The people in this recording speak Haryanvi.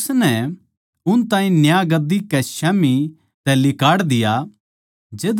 अर उसनै उन ताहीं न्याय गद्दी कै स्याम्ही तै लिकाड़ दिया